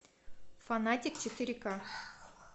фанатик четыре ка